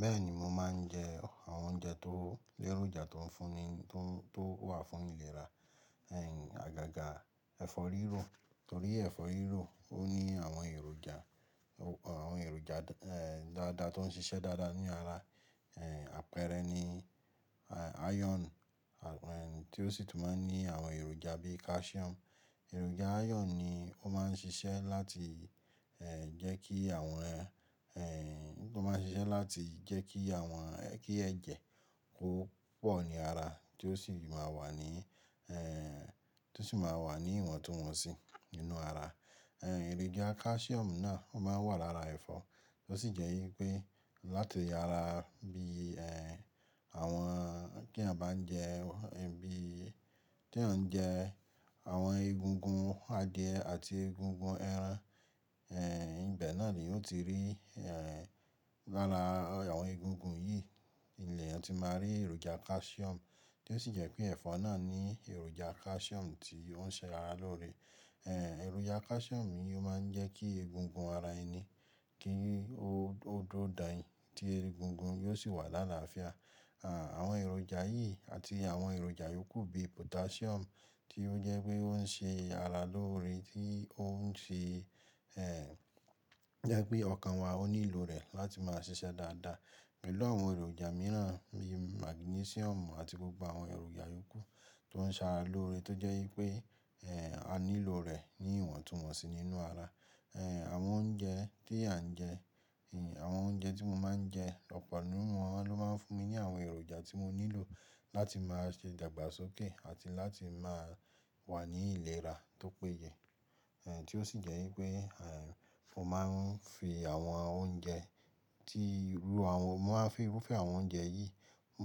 Bẹ́ẹ̀ni, mo máà ń jẹ àwọn oúnjẹ tó lẹ́ròjà tó wà fún ìlera, àgàgà ẹ̀fọ́ rírò torí ẹ̀fọ́ rírò ó ní àwọn èròjà gbogbo àwọn èròjà dáadáa tó ń ṣiṣẹ́ dáadáa ní ara, e n àpẹẹrẹ ni ayọonu tí ó sì tún máa ń ní àwọn èròjà bí i kásíọ̀mù. Èròjà ayọon ni ó máa ń ṣiṣẹ́ láti jẹ́ kí ẹ̀jẹ̀ kó pọ̀ ní ara tí ó sì máa wà ní ìwọ̀ntúnwọnsí nínú ara. Ẹ̀ròjà kásíọ̀mù náà ó máa wà lára ẹ̀fọ́, tó sì jẹ́ wípé láti ara bí i en àwọn tí èèyàn bá ń jẹ ẹran tí a bá ń jẹ àwọn egungun adìẹ àti egungun ẹran, ibẹ̀ náà ni òn tí rí lára àwọn egungun yìí ni ẹni òn tí máa rí èròjà kásíọ̀mù, tí ó sì jẹ́ pé ẹ̀fọ́ náà ní èròjà kásíọ̀mù tí ó ń ṣe ara lóore en. Èròjà kásíọ̀mù yìí ó máa ń jẹ́ kí egungun ara ẹni kí ó dùro dàn yin tí egungun yóò sì wà lára àfiá. Àwọn èròjà yìí àti àwọn èròjà yòókù bí i pọ́tásíọ̀mù tí ó jẹ́ pé ó ń ṣe ara lóore tí ó ń fi jẹ́ pé ọkàn wa ó nílò rẹ̀ láti máa ṣiṣẹ́ dáadáa. Pẹ̀lú àwọn èròjà mìíràn bí i màgínesíọ̀mù àti gbogbo àwọn èròjà yòókù tó ń ṣe ara lóore tó jẹ́ wípé a nílò rẹ̀ ní ìwọ̀ntúnwọnsí nínú ara. Àwọn oúnjẹ tí a ń jẹ, àwọn oúnjẹ tí mo máa ń jẹ lọ́pọ̀ nínú wọn ló máa ń fún mi ní àwọn èròjà tí mo nílò láti máa ṣe dàgbàsókè àti láti máa wà ní ìlera tó péye. Tí ó sì jẹ́ wípé mo máa ń fi irúfẹ́ àwọn oúnjẹ yìí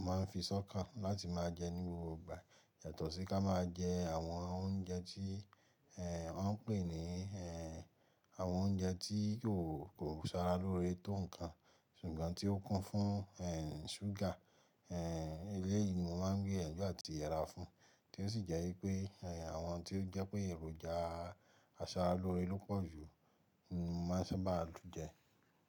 mo máa ń fi sọ́kà láti máa jẹ ní gbogbo ìgbà yàtọ̀ sí ká máa jẹ àwọn oúnjẹ tí wọ́n ń pè ní àwọn oúnjẹ tí kò ṣe ara lóore tó nǹkan ṣùgbọ́n tí ó kún fún ṣúgà. Ilé yìí ni mo máa ń gbé ẹ̀gbọ́n àti ìyá ra fún, tí ó sì jẹ́ wípé àwọn tí ó jẹ́ pé èròjà asara lóore ló pọ̀ jù ni mo máa ń sábà tún jẹ.